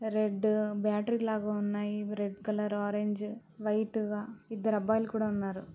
Red battery లాగ ఉన్నాయి. ఇవి రెడ్ కలర్ ఆరెంజ్ వైట్ గ ఇద్దరు అబ్బాయిలు కూడా ఉన్నారు.